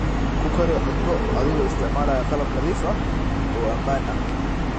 Ku kari cunto adigoo isticmaalaya qalab nadiif ah oo ammaan ah.